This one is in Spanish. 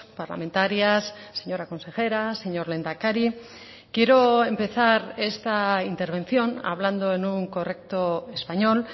parlamentarias señora consejera señor lehendakari quiero empezar esta intervención hablando en un correcto español